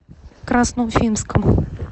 красноуфимском